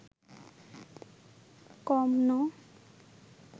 কম ন